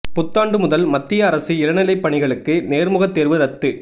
புத்தாண்டு முதல் மத்திய அரசு இளநிலை பணிகளுக்கு நேர்முகத் தேர்வு ரத்து